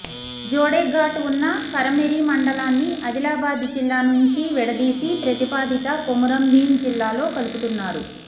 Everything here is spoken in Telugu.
జోడెఘాట్ ఉన్న కెరమెరి మండలాన్ని ఆదిలాబాద్ జిల్లా నుంచి విడదీసి ప్రతిపాదిత కొమురం భీం జిల్లాలో కలుపుతున్నారు